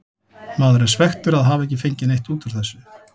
Maður er svekktur að hafa ekki fengið neitt út úr þessu.